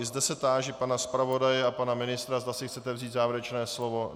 I zde se táži pana zpravodaje a pana ministra, zda si chtějí vzít závěrečné slovo.